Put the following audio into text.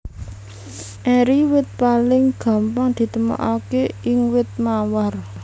Eri wit paling gampang ditemokaké ing wit mawar